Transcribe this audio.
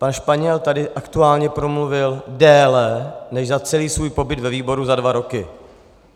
Pan Španěl tady aktuálně promluvil déle než za celý svůj pobyt ve výboru za dva roky.